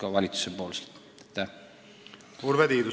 Urve Tiidus, palun!